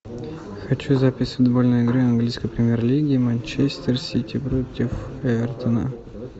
хочу запись футбольной игры английской премьер лиги манчестер сити против эвертона